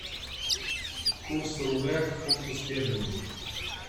курс рубля к фунту стерлингу